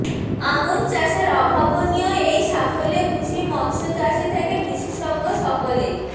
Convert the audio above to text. আমুর চাষের অভাবনীয় এই সাফল্যে খুশি মৎস্য চাষি থেকে বিশেষজ্ঞ সকলেই